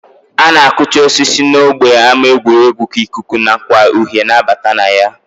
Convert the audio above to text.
A na-akụcha osisi n'ógbè ama egwuregwu ka ikuku nakwa uhie na-abata na ya